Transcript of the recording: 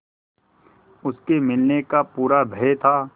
उसके मिलने का पूरा भय था